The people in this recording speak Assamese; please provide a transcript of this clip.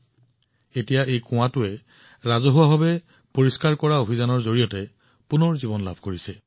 কিন্তু এতিয়া তাত এই কুঁৱাটো পুনৰুজ্জীৱিত কৰাৰ অভিযান জনসাধাৰণৰ অংশগ্ৰহণেৰে আৰম্ভ হৈছে